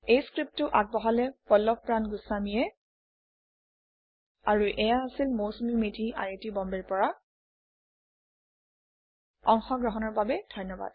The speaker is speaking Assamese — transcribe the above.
এই পাঠটি পল্লভ প্ৰান গুস্ৱামী দ্ৱাৰা যোগদান কৰা হৈছে এইয়া হৈছে Mousumi Medhi I I T বম্বেৰ পৰা অংশগ্ৰহণৰ বাবে ধন্যবাদ